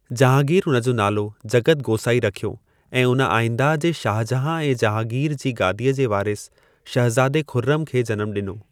जहांगीर उन जो नालो जगतु गोसाईं रखियो ऐं उन आईंदह जे शाहजहां ऐं जहांगीर जी गादीअ जे वारिस, शहज़ादे खुर्रम खे जनमु ॾिनो।